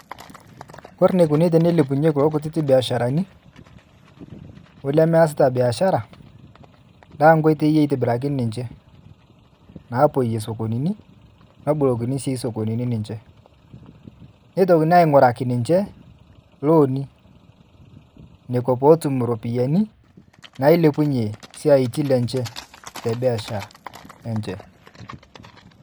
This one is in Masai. Ore enikuni tenilepunyeki kulo kititik biasharani lemeasita biashara na nkoitoi itobirakini ninche napoyie sokonini nabolokini sokonini ninch nitokini ainguraki ninche loani nekua natum ropiyani nailepunye siatin enye tebiashara enche.